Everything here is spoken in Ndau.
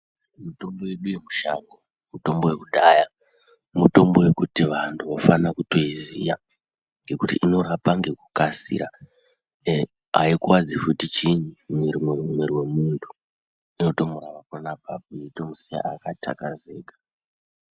Mitombo yedu yemushango mitombo yekudhaya , mutombo yekuti vantu vofane kutoiziya ngekuti inorapa ngekukasira aikuwadzi fti chiini mwiri wemuntu inotomurapa pona apapo yeitomusiya akatakazeka.